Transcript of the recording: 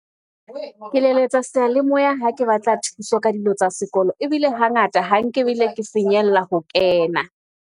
Ke leletsa seyalemoya ha ke batla thuso ka dilo tsa sekolo ebile hangata ha nke ebile ke finyella ho kena.